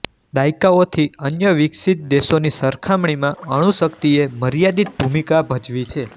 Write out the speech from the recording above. દાયકાઓથી અન્ય વિકસિત દેશોની સરખામણીમાં અણુશક્તિએ મર્યાદિત ભૂમિકા ભજવી છે